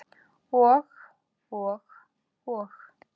Og, og, og.